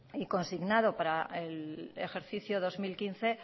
y consignado para el ejercicio dos mil quince